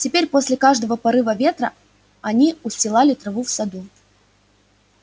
теперь после каждого порыва ветра они устилали траву в саду